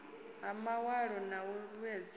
ya mawalo na u vhuedzedza